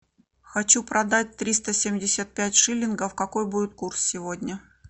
хочу продать триста семьдесят пять шиллингов какой будет курс сегодня